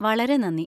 വളരെ നന്ദി!